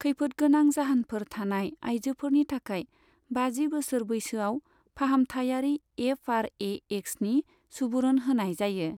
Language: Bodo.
खैफोदगोनां जाहोनफोर थानाय आइजोफोरनि थाखाय बाजि बोसोर बैसोआव फाहामथायारि एफ आर ए एक्सनि सुबुरुन होनाय जायो।